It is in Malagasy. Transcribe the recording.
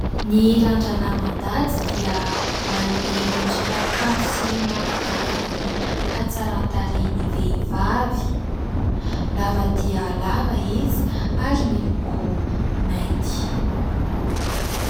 Ny randrana mandady dia manome endrika kanto sy mampivoaka ny hatsaran-tarehin'ny vehivavy, lava dia lava izy ary miloko mainty.